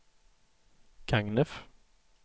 Gagnef